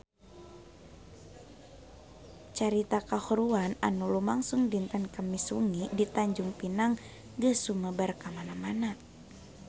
Carita kahuruan anu lumangsung dinten Kemis wengi di Tanjung Pinang geus sumebar kamana-mana